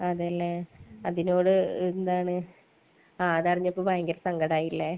അതേലെ. അതിനോട് എന്താണ് അതറിഞ്ഞപ്പോ ഭയങ്കര സങ്കടമായല്ലേ?